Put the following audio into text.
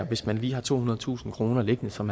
hvis man lige har tohundredetusind kroner liggende som